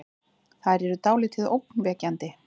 Þær eru dáldið ógnvekjandi.